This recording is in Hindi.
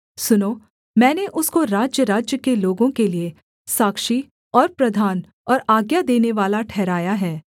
सुनो मैंने उसको राज्यराज्य के लोगों के लिये साक्षी और प्रधान और आज्ञा देनेवाला ठहराया है